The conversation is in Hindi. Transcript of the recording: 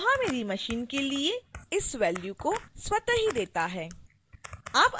koha मेरी machine के लिए इस value 201808210005590 को स्वत: ही देता है